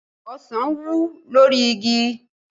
Ọsàn wù lórí igi